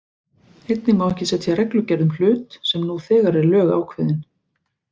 Einnig má ekki setja reglugerð um hlut sem nú þegar er lögákveðinn.